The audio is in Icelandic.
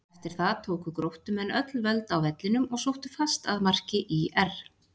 Eftir það tóku Gróttumenn öll völd á vellinum og sóttu fast að marki ÍR.